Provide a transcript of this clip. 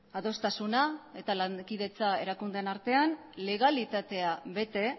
adostasuna eta lankidetza erakundeen artean legalitatea bete